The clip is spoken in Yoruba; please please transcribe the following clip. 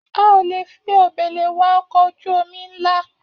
A ò lè fi òbèlè wa ọkọ̀ ojú-omi nla